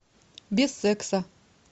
без секса